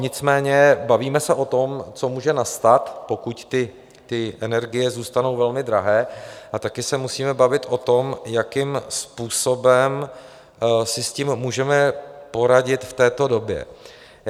Nicméně bavíme se o tom, co může nastat, pokud ty energie zůstanou velmi drahé, a taky se musíme bavit o tom, jakým způsobem si s tím můžeme poradit v této době.